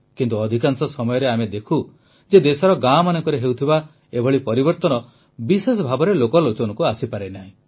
କିନ୍ତୁ ଅଧିକାଂଶ ସମୟରେ ଆମେ ଦେଖୁ ଯେ ଦେଶର ଗାଁମାନଙ୍କରେ ହେଉଥିବା ଏଭଳି ପରିବର୍ତ୍ତନ ବିଶେଷ ଭାବେ ଲୋକଲୋଚନକୁ ଆସିପାରେ ନାହିଁ